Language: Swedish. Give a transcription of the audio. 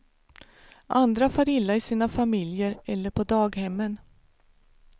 Andra far illa i sina familjer eller på daghemmen.